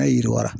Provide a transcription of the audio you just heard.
A ye yiri wara